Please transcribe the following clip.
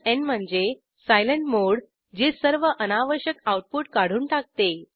n म्हणजे silent मोडे जे सर्व अनावश्यक आऊटपुट काढून टाकते